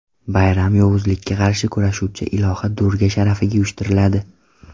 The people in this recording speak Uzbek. Bayram yovuzlikka qarshi kurashuvchi iloha Durga sharafiga uyushtiriladi.